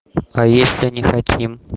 а если не хотим